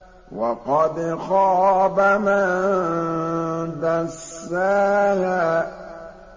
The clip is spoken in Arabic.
وَقَدْ خَابَ مَن دَسَّاهَا